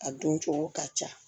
A dun cogo ka ca